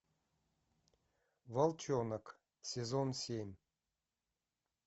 волчонок сезон семь